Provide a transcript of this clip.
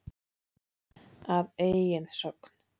Að eigin sögn.